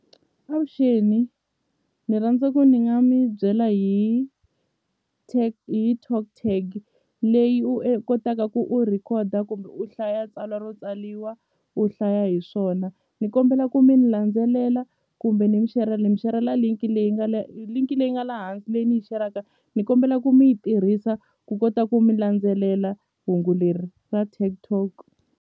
Avuxeni ni rhandza ku ni nga mi byela hi hi TalkTag leyi u kotaka ku u record-a kumbe u hlaya tsalwa ro tsaliwa u hlaya hi swona ni kombela ku mi ni landzelela kumbe ni ni mi share-la linki leyi nga linki leyi nga la hansi leyi ni yi share-ka ni kombela ku mi yi tirhisa ku kota ku mi landzelela hungu leri ra .